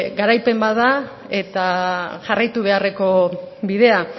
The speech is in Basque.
garaipen bat eta jarraitu beharreko bidea